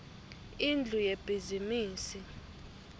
indlu yebhizimisi